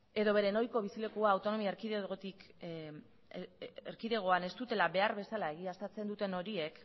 edo bere ohiko bizilekua autonomia erkidegoan ez dutela behar bezala egiaztatzen duten horiek